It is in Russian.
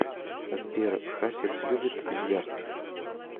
сбер хасис любит бильярд